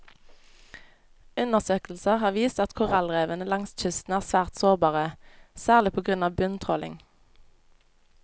Undersøkelser har vist at korallrevene langs kysten er svært sårbare, særlig på grunn av bunntråling.